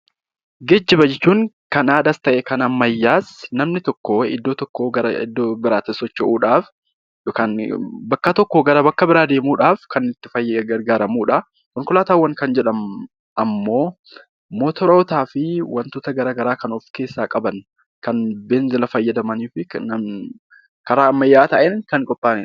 Geejjiba jechuun Kan aadaas tahe Kan ammayyaas namni tokko iddoo tokkoo gara iddoo biraatti socho'uudhaaf yookaan bakka tokkoo gara bakka biraa deemuudhaaf kan itti gargaaramuudha. Konkolaataawwan Kan jedhamu ammoo mootorotaa fi waantoota garagaraa Kan of keessaa qaban Kan beenzila fayyadamaniifi karaa ammayyaa taheen Kan qophaa'aniidha.